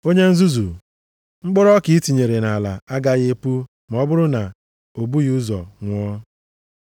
Onye nzuzu! Mkpụrụ ọka i tinyere nʼala agaghị epu ma ọ bụrụ na o bughị ụzọ nwụọ.